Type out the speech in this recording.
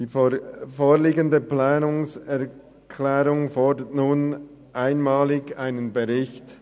Die vorliegende Planungserklärung fordert nun einmalig einen Bericht.